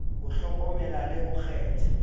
ho hlokomela le ho kgetha